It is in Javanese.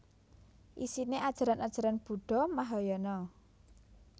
Isine ajaran ajaran Buddha Mahayana